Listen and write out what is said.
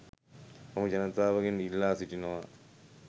මම ජනතාවගෙන් ඉල්ලා සිටිනවා.